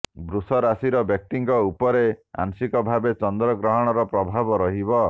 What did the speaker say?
ବୃଷ ରାଶିର ବ୍ୟକ୍ତିଙ୍କ ଉପରେ ଆଂଶିକ ଭାବେ ଚନ୍ଦ୍ର ଗ୍ରହଣର ପ୍ରଭାବ ରହିବ